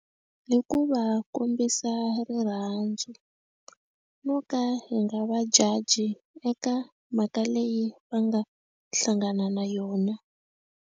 Hi ku va kombisa rirhandzu ro ka hi nga va judge eka mhaka leyi va nga hlangana na yona.